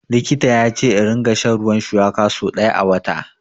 Likita ya ce in ringa shan ruwan shuwaka so ɗaya a wata.